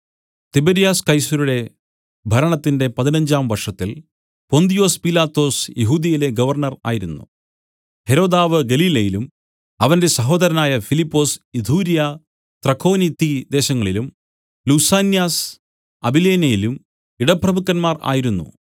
തിബര്യാസ് കൈസരുടെ ഭരണത്തിന്റെ പതിനഞ്ചാം വർഷത്തിൽ പൊന്തിയൊസ് പീലാത്തോസ് യെഹൂദ്യയിലെ ഗവർണ്ണർ ആയിരുന്നു ഹെരോദാവ് ഗലീലയിലും അവന്റെ സഹോദരനായ ഫിലിപ്പൊസ് ഇതുര്യ ത്രഖോനിത്തി ദേശങ്ങളിലും ലുസാന്യാസ് അബിലേനയിലും ഇടപ്രഭുക്കന്മാർ ആയിരുന്നു